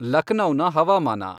ಲಖ್ನೌನ ಹವಾಮಾನ